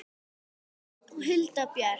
Hulda Björk.